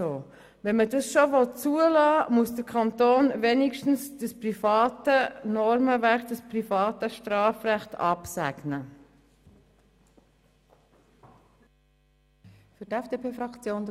Wenn man das schon zulassen will, muss der Kanton dieses private Normenwerk, dieses private Strafrecht, wenigstens absegnen.